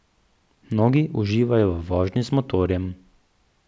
Mnogi uživajo v vožnji z motorjem.